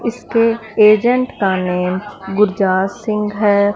इसके एजेंट का नेम गुरजात सिंह है।